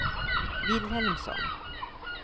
Vilhelmsson